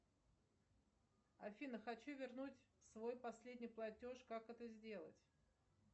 афина хочу вернуть свой последний платеж как это сделать